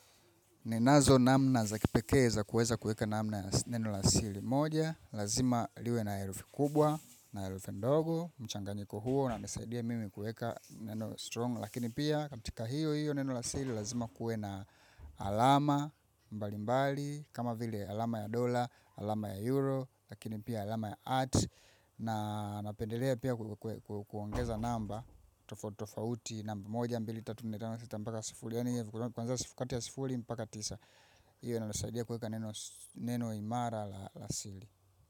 Ninazo namna za kipekee za kuweza kuweka namna ya neno la siri. Moja Lazima liwe na herufi kubwa na herufi ndogo, mchanganyiko huo unanisaidia mimi kuweka neno strong Lakini pia katika hiyo hiyo neno la siri lazima kuwe na alama mbalimbali kama vile alama ya dola, alama ya euro, lakini pia alama ya at na napendelea pia kuongeza namba tofauti tofauti moja mbili tatu nne tano sita mpaka sufuri yaani yenye kwanza kati ya sufuri mpaka tisa hiyo inanisaidia kuweka neno imara la siri.